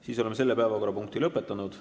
Siis oleme selle päevakorrapunkti lõpetanud.